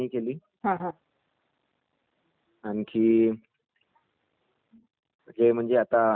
आणि जसं..खूप चांगला म्हणजे नाही का विराट कोहली ने पण चाांगली मेहनत केली होती.